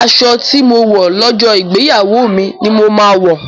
Aṣọ tí mo wọ̀ lọ́jọ́ ìgbéyàwó mi ni mo máa wọ̀.,